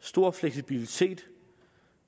stor fleksibilitet